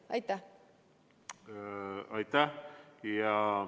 Aitäh!